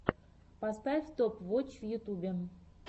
поставь топ вотч в ютубе